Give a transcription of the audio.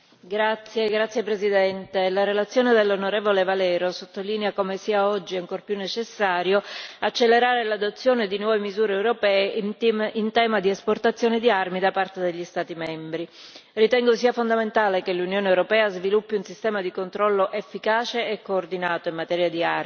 Signora Presidente, onorevoli colleghi, la relazione dell'onorevole Valero sottolinea come oggi sia ancora più necessario accelerare l'adozione di nuove misure europee in tema di esportazione di armi da parte degli Stati membri. Ritengo sia fondamentale che l'Unione europea sviluppi un sistema di controllo efficace e coordinato in materia di armi,